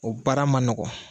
O baara ma nɔgɔn